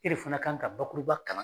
I de fana kan ka bakuruba kalan.